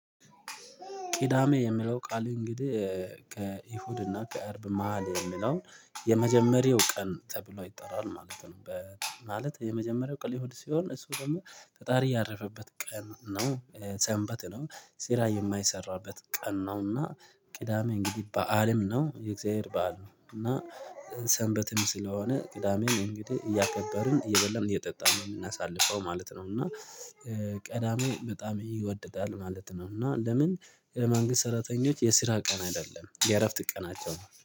ቅዳሜ የሚለው ቃል እንግዲህ ከይሁድና ከአርብ መሃል የሚለውን የመጀመሪያው ቀን ተብሎ ይጠራል ማለት ነው። በ ማለት የመጀመሪያው ቀን እሁድ ሲሆን እሱ ደግሞ ፈጣሪ ያረፈበት ቀን ነው። ሰንበት ነው። ስራ የማይሰራበት ቀን ነው። እና ቅዳሜ እንግዲህ በዓልም ነው የእግዚአብሔር በዓል ነው። እና ሰንበትም ስለሆነ ቅዳሜም እንግዲህ እያከበርን እየበላም እየጠጣን እናሳልፈው ማለት ነው። እና ቅዳሜ በጣም ይወድታል ማለት ነው። እና ለምን? ለመንግስት ሰራተኞች የስራ ቀን አይደለም የእረፍት ቀናቸው